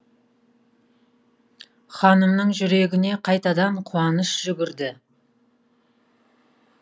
ханымның жүрегіне қайтадан қуаныш жүгірді